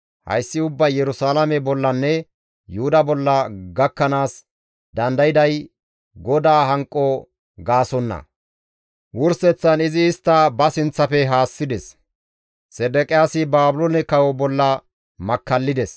Hayssi ubbay Yerusalaame bollanne Yuhuda bolla gakkanaas dandayday GODAA hanqo gaasonna; wurseththan izi istta ba sinththafe haassides. Sedeqiyaasi Baabiloone kawo bolla makkallides.